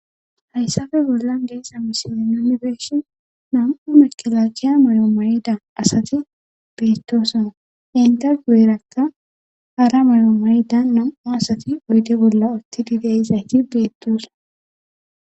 Hayssafe bollan geesa misine nomibeeshi nam'u mekelagiya mayomayida asati beettosana inte guerakka hara mayoo marida nam'u asati uyde bolla ottidi deizayti beettosa